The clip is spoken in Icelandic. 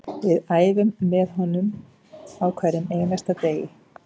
Við æfum með honum á hverjum einasta degi